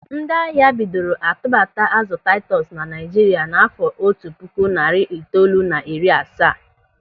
Ndị ahịa bidoro a tubata azụ taitus na Naịjirịa n'àfọ́ otu puku narị itoolu na iri asaa.